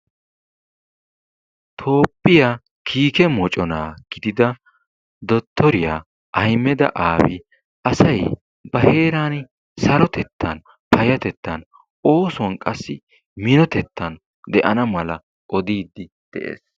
Toophphiya kiikke mocona gidida dottoriya Ahmed Aabi asay ba heeran sarotettan, payatettan, oosuwan qassi minotettan de'ana mala oddiidi de'ees.